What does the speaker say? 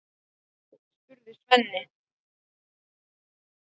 spurði Svenni.